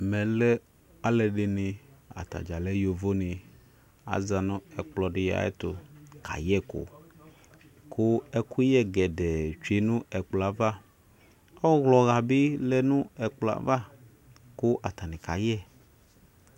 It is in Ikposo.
ɛmɛlɛ alɛdini atadza lɛ yovoni azanu ɛkplɔdi ayɛtu kayɛku ku ɛkuyɛ kɛdɛɛ dwenu ɛkplɔ ava ɔwlɔhabi lɛnu ɛkplɔ ava ku atanikayɛ